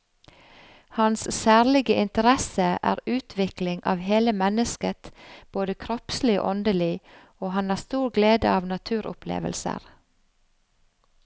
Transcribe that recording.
Hans særlige interesse er utvikling av hele mennesket både kroppslig og åndelig, og han har stor glede av naturopplevelser.